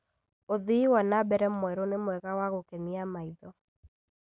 ũthii wa na mbere mwerũ nĩ mwega na wa gũkenia maitho